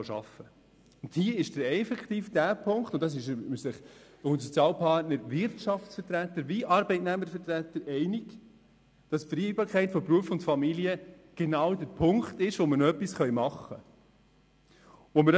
Dabei ist effektiv zu beachten – darin ist man sich sowohl seitens der Sozialpartner als auch seitens der Wirtschafts- und Arbeitnehmervertreter einig –, dass die Vereinbarkeit von Beruf und Familie genau der Punkt ist, bei dem noch etwas gemacht werden kann.